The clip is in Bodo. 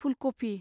फुलकफि